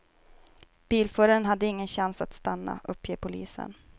Bilföraren hade ingen chans att stanna, uppger polisen.